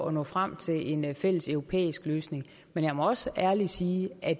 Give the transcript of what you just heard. at nå frem til en fælles europæisk løsning men jeg må også ærligt sige at